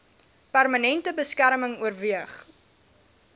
permanente beskerming oorweeg